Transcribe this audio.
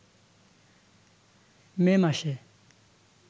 মে মাসে